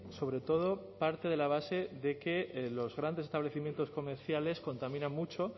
sobre todo parte de la base de que los grandes establecimientos comerciales contaminan mucho